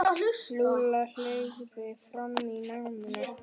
Lúlla fleygði fram í náminu.